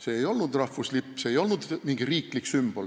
See ei olnud rahvuslipp ega mingi riiklik sümbol.